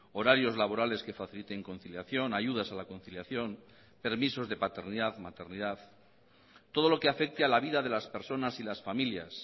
horarios laborales que faciliten conciliación ayudas a la conciliación permisos de paternidad maternidad todo lo que afecte a la vida de las personas y las familias